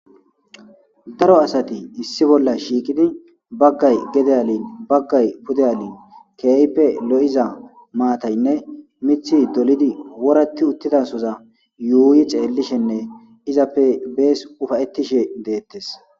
daro asati issi bolla shiiqidi baggay gede alin baggay pude alin keeype lo7iza maataynne mithi dolidi woratti uttidasoza yuuyi ceellishenne izappe bees ufayettishe deettes